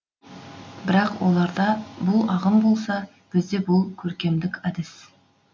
бірақ оларда бұл ағым болса бізде бұл көркемдік әдіс